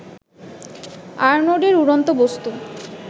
আরনোডের উড়ন্ত বস্তু